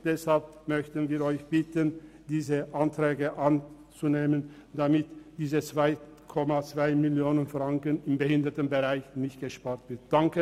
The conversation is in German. Deshalb bitten wir Sie, diese Anträge anzunehmen, damit diese 2,2 Mio. Franken im Behindertenbereich nicht gespart werden.